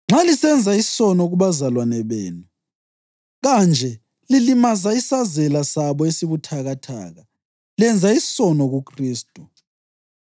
Nxa lisenza isono kubazalwane benu kanje lilimaza isazela sabo esibuthakathaka, lenza isono kuKhristu.